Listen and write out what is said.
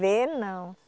Ver, não.